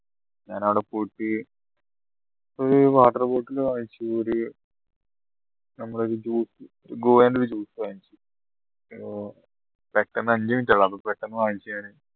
ഞാനവിടെ പോയിട്ട് ഒരു water bottle വാങ്ങിച്ചു ഒരു ഒരു juice ന്റെ ഒരു juice വാങ്ങിച്ചു പെട്ടെന്ന് അഞ്ചു minute ഉള്ളൂ പെട്ടെന്ന് വാങ്ങിച്ചു ഞാന്